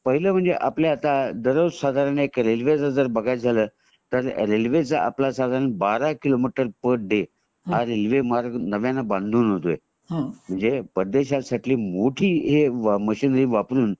पहिले म्हणजे दररोज साधारण आपल्या रेल्वे च जर बघायच झालं तर रेल्वे च आपल्या साधारण बारा किलोमीटर पर डे हा रेल्वे मार्ग नव्याने बांधून होतोय म्हणजे परदेश सारखी मोठी मशीनरी वापरुन